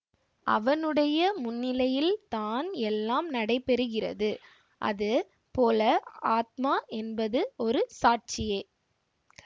அவனுடைய முன்னிலையில் தான் எல்லாம் நடைபெறுகிறது அது போல ஆத்மா என்பது ஒரு சாட்சியே